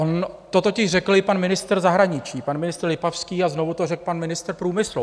On to totiž řekl i pan ministr zahraničí, pan ministr Lipavský, a znovu to řekl pan ministr průmyslu.